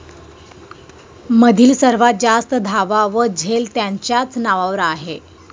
मधील सर्वात जास्त धावा व झेल त्यांच्याच नावावर आहे